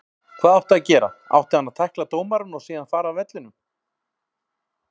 Hvað áttu að gera. átti hann að tækla dómarann og síðan fara af vellinum?